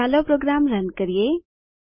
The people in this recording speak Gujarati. ચાલો પ્રોગ્રામ રન કરીએ